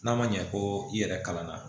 N'a ma ɲɛ ko i yɛrɛ kalan na